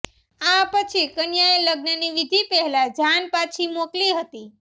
આ પછી કન્યાએ લગ્નની વિધિ પેહલા જાન પાછી મોકલી હતી